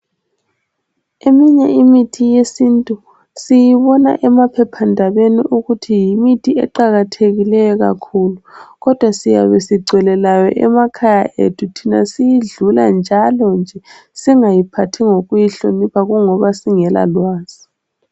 Eminye imithi yesintu iqakathekile sibona emaphephandaba kodwa siyabe siyazi nje single ndaba layo siyidlula ,singayiphathi ngokuyihlonipha ngoba singela lwazi.